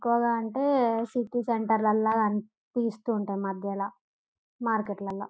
ఎక్కువగా అంటే city centre లాల కానీ పిస్తుంటాయి మద్యల మార్కెట్ లాల.